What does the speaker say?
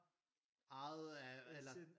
Ejet af eller